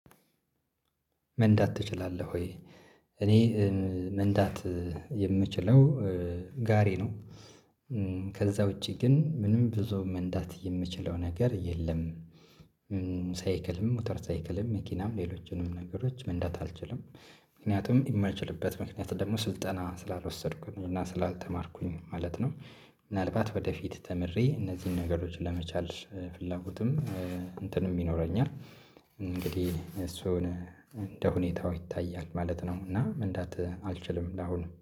መንዳት ትችላለህ ወይ? እኔ ኧ መንዳት የምችለው ጋሬ ነው። ከዛ ውጪ ግን ምንም ብዙ መንዳት የምችለው ነገር የለም። ሳይክልም ሞተር ሳይክልም መኪናም ሌሎችንም ነገሮች መንዳት አልችልም። ምክንያቱም የማልችልበት ምክንያት ደግሞ ስልጠና ስላልወሰድኩኝ እና ስላልተማርኩኝ ማለት ነው። ምናልባት ወደፊት ተምሬ እነዚህን ነገሮች ለመቻል ፍላጎትም እንትንም ይኖረኛል። እንግዲህ እሱን እንደ ሁኔታው ይታያል ማለት ነው። እና መንዳት አልችልም ለአሁኑ።